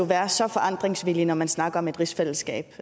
være så forandringsvillig når man snakker om et rigsfællesskab